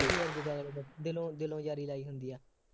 ਦਿਲੋ ਦਿਲੋਂ ਯਾਰੀ ਲਈ ਹੁੰਦੀ ਹੈ,